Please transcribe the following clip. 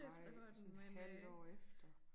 Ej og sådan et halvt år efter